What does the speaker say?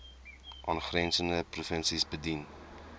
aangrensende provinsies bedien